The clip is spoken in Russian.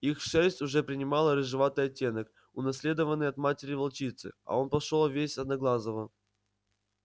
их шерсть уже принимала рыжеватый оттенок унаследованный от матери волчицы а он пошёл весь одноглазого